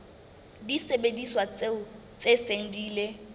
disebediswa tse seng di ile